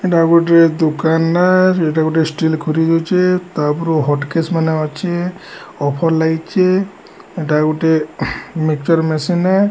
ଏଇଟା ଗୋଟେ ଦୋକାନ ଏଇଟା ଗୋଟେ ଷ୍ଟିଲ୍ ଖୁରି ରହିଛି ତା ଉପରକୁ ହଟ୍ କେସ୍ ମାନେ ଅଛି ଅଫର୍ ଲାଗିଛି ଏଇଟା ଗୋଟେ ମିଚର ମେସିନ୍ ।